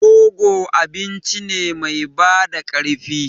Rogo abinci ne mai bada ƙarfi.